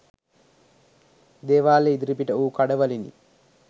දේවාලය ඉදිරිපිට වූ කඩවලිනි